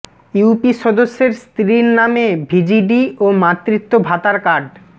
UP সদস্যের স্ত্রীর নামে ভিজিডি ও মাতৃত্ব ভাতার কার্ড